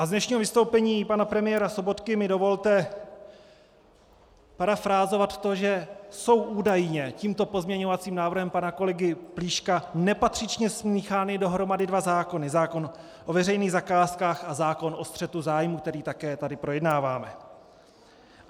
A z dnešního vystoupení pana premiéra Sobotky mi dovolte parafrázovat to, že jsou údajně tímto pozměňovacím návrhem pana kolegy Plíška nepatřičně smíchány dohromady dva zákony - zákon o veřejných zakázkách a zákon o střetu zájmů, který tady také projednáváme.